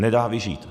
Nedá vyžít.